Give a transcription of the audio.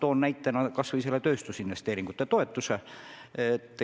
Toon näiteks kas või tööstusinvesteeringute toetuse.